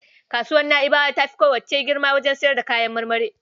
Kasuwar Na'ibawa ta fi kowacce girma wajen sayar da kayan marmari.